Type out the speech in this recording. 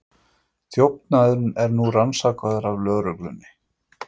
Þjófnaðurinn er nú rannsakaður af lögreglunni